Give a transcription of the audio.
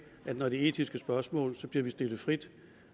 at når det er etiske spørgsmål bliver vi stillet frit